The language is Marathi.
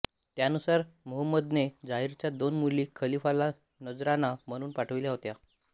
त्यानुसार मुहम्मदने दाहिरच्या दोन मुली खलीफाला नजराणा म्हणून पाठविल्या होत्या